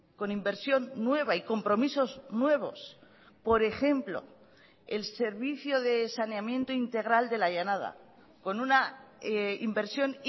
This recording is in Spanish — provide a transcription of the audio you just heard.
con inversión nueva y compromisos nuevos por ejemplo el servicio de saneamiento integral de la llanada con una inversión